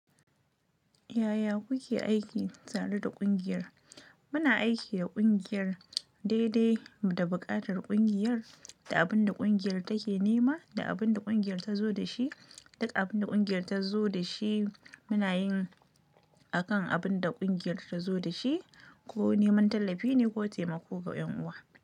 Yaya kuke aiki tare da ƙungiyar? Muna aiki da ƙungiyar daidai da buƙatar ƙungiyar da abin da ƙungiyar take nema da abin da ƙungiyar ta zo da shi. Duk abin da ƙungiyar ta zo da shi muna yin a kan abin da ƙungiyar ta zo da shi ko neman tallafi ne ko taimako ga 'yan uwa.